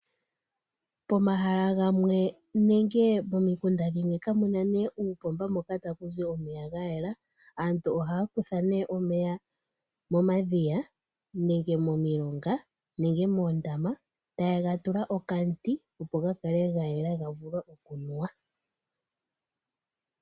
Pomahala gamwe nenge momikunda dhimwe kamuna ne upomba hoka takuzi omeya gayela , aantu ohaya kutha ne omeya momadhiya nenge momilonga nenge moondama tayega tula okamuti opo gakale gayela gavule okunuwa.